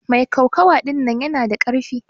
Mai kokawa ɗinnan yana da karfi.